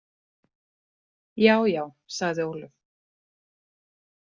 Já, já, sagði Ólöf.